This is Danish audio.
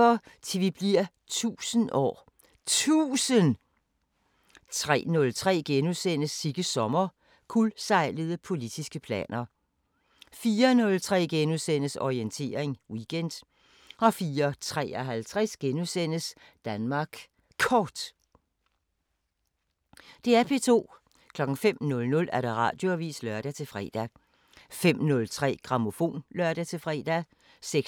05:00: Radioavisen (lør-fre) 05:03: Grammofon (lør-fre) 06:03: Grammofon 07:03: P2 Morgenmusik 08:07: Morgenandagten (lør og man-fre) 08:27: P2 Morgenmusik (lør og man-fre) 09:07: Min yndlingsmusik 10:03: Grammofon 12:00: Radioavisen (lør-fre) 12:15: Festivalsommer